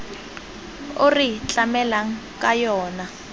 o re tlamelang ka yona